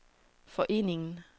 foreningen